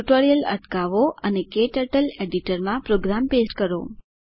tutorial અટકાવો અને ક્ટર્ટલ એડિટર માં પ્રોગ્રામ પેસ્ટ કરો